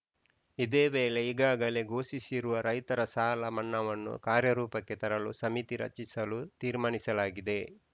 ಇದೇ ವೇಳೆ ಈಗಾಗಲೇ ಘೋಷಿಸಿರುವ ರೈತರ ಸಾಲ ಮನ್ನಾವನ್ನು ಕಾರ್ಯರೂಪಕ್ಕೆ ತರಲು ಸಮಿತಿ ರಚಿಸಲು ತೀರ್ಮಾನಿಸಲಾಗಿದೆ